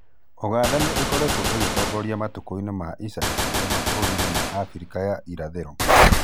Ũganda nĩ ĩkoretwo ĩgitongoria matũkũinĩ ma ica ikũhĩ mabûrũrinĩ ma Afrika ya irathĩro.